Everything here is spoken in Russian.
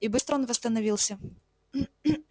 и быстро он восстановился